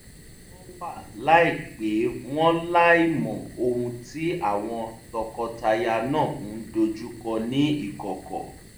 wọn wá láìpè wọ́n láìmọ ohun tí àwọn tọkọtaya náà ń dojúkọ ní ìkọ̀kọ̀